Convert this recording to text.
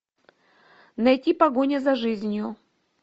найти погоня за жизнью